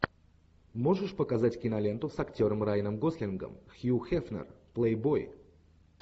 можешь показать киноленту с актером райаном гослингом хью хефнер плейбой